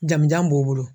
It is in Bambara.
Jamu jan b'u bolo